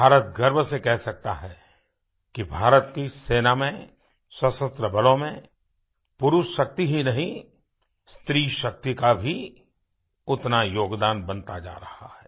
भारत गर्व से कह सकता है कि भारत की सेना में सशस्त्र बलों में पुरुष शक्ति ही नहीं स्त्रीशक्ति का भी उतना योगदान बनता जा रहा है